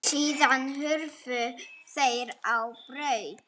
Síðan hurfu þeir á braut.